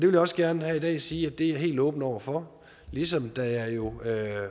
vil også gerne her i dag sige at det er jeg helt åben over for ligesom jeg jo